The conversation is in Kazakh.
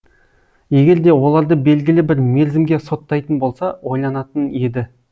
егер де оларды белгілі бір мерзімге соттайтын болса ойланатын еді